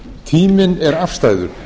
tíminn er afstæður